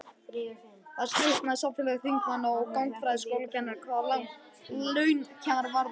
Þar slitnar samfylgd þingmanna og gagnfræðaskólakennara hvað launakjör varðar.